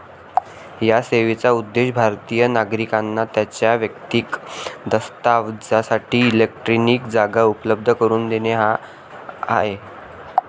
या सेवेचा उद्देश भारतिय नागरिकांना त्यांच्या वैयक्तिक दस्तावजासाठी इलेक्ट्रॉनिक जागा उपलब्ध करून देणे हा आहे.